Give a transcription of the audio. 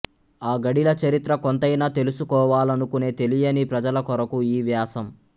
ఆ గడీల చరిత్ర కొంతైనా తెలుసుకోవాలనుకునే తెలియని ప్రజలకొరకు ఈ వ్యాసం